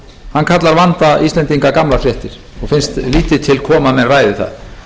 hann kallar vanda íslendinga gamlar fréttir og finnst lítið til koma að menn ræði það